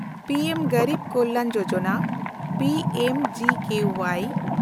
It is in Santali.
ᱯᱤ ᱮᱢ ᱜᱮᱱᱰᱤᱵᱽ Kalyan Yojana (P M G K Y)